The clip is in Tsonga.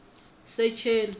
secheni